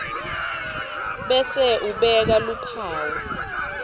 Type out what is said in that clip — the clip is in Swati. bese ubeka luphawu